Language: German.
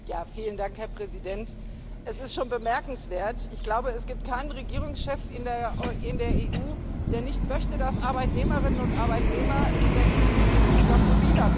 Herr Präsident, sehr geehrte Abgeordnete! Es ist schon bemerkenswert Ich glaube, es gibt keinen Regierungschef in der EU, der nicht möchte, dass Arbeitnehmerinnen und Arbeitnehmer in der EU insgesamt mobiler werden.